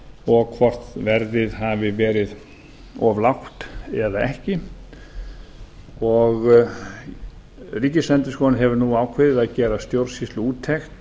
og hvort verðið hafi verið of lágt eða ekki ríkisendurskoðun hefur nú ákveðið að gera stjórnsýsluúttekt